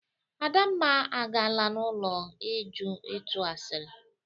Adamma agaala n'ulo Uju ito asịrị